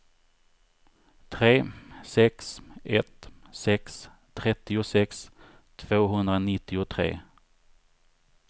tre sex ett sex trettiosex tvåhundranittiotre